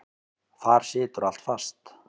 Þar situr allt fast.